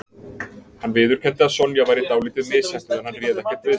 Hann viðurkenndi að Sonja væri dálítið misheppnuð en hann réð ekkert við sig